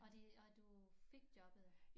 Og de og du fik jobbet